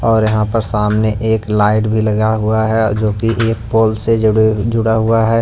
और यहां पर सामने एक लाइट भी लगा हुआ है जो कि एक पोल से जुड़ जुड़ा हुआ है।